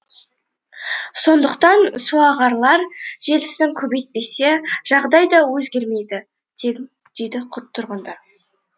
сондықтан суағарлар желісін көбейтпесе жағдай өзгермейді дейді тұрғындар